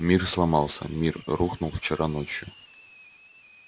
мир сломался мир рухнул вчера ночью